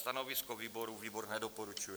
Stanovisko výboru: výbor nedoporučuje.